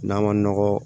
N'a ma nɔgɔ